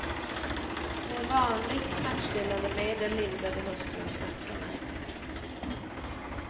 Med vanligt smärtstillande medel lindrade hustrun smärtorna.